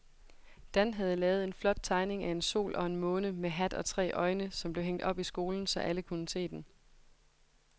Dan havde lavet en flot tegning af en sol og en måne med hat og tre øjne, som blev hængt op i skolen, så alle kunne se den.